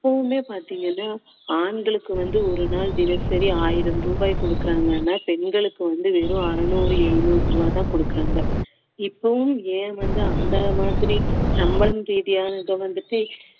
இப்பவுமே பாத்தீங்கன்னா ஆண்களுக்கு வந்து ஒரு நாள் தினசரி ஆயிரம் ரூபாய் கொடுக்குறாங்கன்னா பெண்களுக்கு வந்து வெறும் அறுநூறு எழுநூறு ரூபாய் தான் கொடுக்குறாங்க இப்பவும் ஏன் வந்து அந்த மாதிரி சம்பளம் ரீதியானது வந்துட்டு